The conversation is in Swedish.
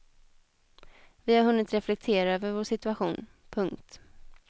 Vi har hunnit reflektera över vår situation. punkt